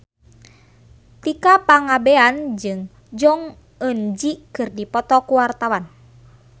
Tika Pangabean jeung Jong Eun Ji keur dipoto ku wartawan